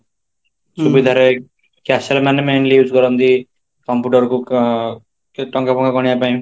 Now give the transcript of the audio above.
ସୁବିଧାରେ cashier ମାନେ mainly use କରନ୍ତି computer କୁ ଆଁ ଟଙ୍କା ଗଣିବା ପାଇଁ